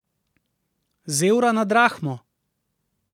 Z evra na drahmo?